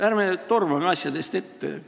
Ärme tormame asjadest ette!